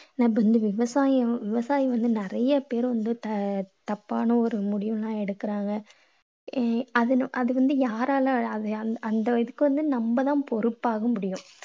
இப்போ வந்து விவசாயி~ விவசாயிங்க வந்து நிறைய பேர வந்து த~ தப்பான ஒரு முடிவெல்லாம் எடுக்கறாங்க. அஹ் அதுல~ அது வந்து யாரால? அ~ அந்த~ அதுக்கு வந்து நம்ம தான் பொறுப்பாக முடியும்